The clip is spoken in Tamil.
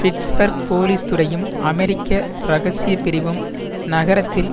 பிட்ஸ்பர்க் போலீஸ் துறையும் அமெரிக்க இரகசிய பிரிவும் நகரத்தில்